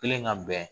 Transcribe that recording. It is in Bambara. Kelen ka bɛn